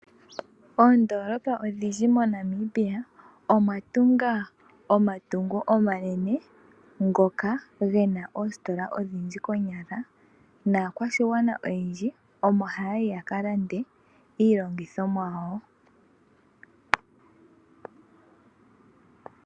Oondoolola odhindji mo Namibia, odha tunga otungo omanene ngoka gena oositola odhindji konyala. Naakwashigwana oyendji omo haya yi yakalande iilandithomwa yawo.